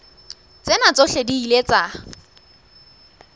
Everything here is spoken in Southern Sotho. tsena tsohle di ile tsa